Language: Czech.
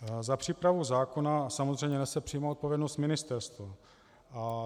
Za přípravu zákona samozřejmě nese přímou odpovědnost ministerstvo.